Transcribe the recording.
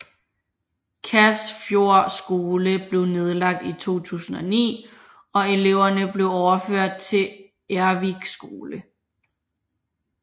Kasfjord skole blev nedlagt i 2009 og eleverne blev overført til Ervik skole